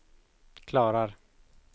klarar